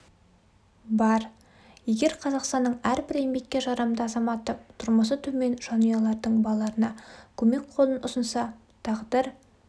бар егер қазақстанның әрбір еңбекке жарамды азаматы тұрмысы төмен жанұялардын балаларына көмек қолын ұсынса тағдыр